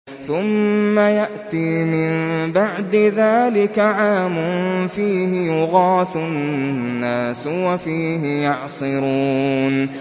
ثُمَّ يَأْتِي مِن بَعْدِ ذَٰلِكَ عَامٌ فِيهِ يُغَاثُ النَّاسُ وَفِيهِ يَعْصِرُونَ